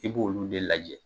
I b' olu den de lajɛ.